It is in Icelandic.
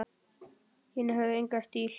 Hinir höfðu engan stíl.